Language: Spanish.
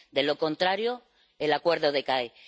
De lo contrario, el Acuerdo decae.